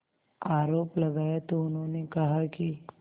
आरोप लगाया तो उन्होंने कहा कि